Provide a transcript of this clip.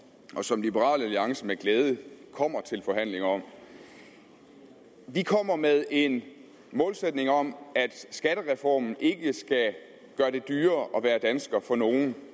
og som liberal alliance med glæde kommer til forhandlinger om at vi kommer med en målsætning om at skattereformen ikke skal gøre det dyrere at være dansker for nogen